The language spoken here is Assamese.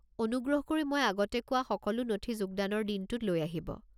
অনুগ্ৰহ কৰি মই আগতে কোৱা সকলো নথি যোগদানৰ দিনটোত লৈ আহিব।